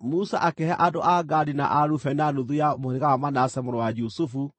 Musa akĩhe andũ a Gadi na a Rubeni na nuthu ya mũhĩrĩga wa Manase mũrũ wa Jusufu,